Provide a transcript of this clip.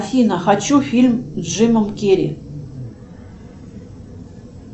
афина хочу фильм с джимом керри